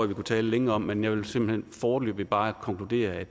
vi kunne tale længe om men jeg vil foreløbig bare konkludere at